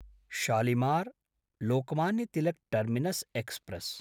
Shalimar Lokmanya Tilak terminus express